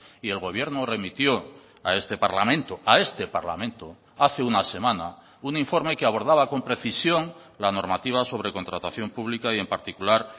y el gobierno remitió a este parlamento a este parlamento hace una semana un informe que abordaba con precisión la normativa sobre contratación pública y en particular